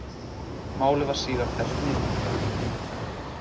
Málið var síðar fellt niður